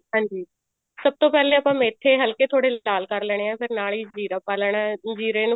ਹਾਂਜੀ ਸਭ ਤੋਂ ਪਹਿਲੇ ਆਪਾਂ ਮੇਥੇ ਤੋੜੇ ਹਲਕੇ ਲਾਲ ਕਰ ਲੈਣੇ ਆ ਫ਼ੇਰ ਨਾਲ ਹੀ ਜ਼ੀਰਾ ਪਾ ਲੈਣਾ ਜ਼ੀਰੇ ਨੂੰ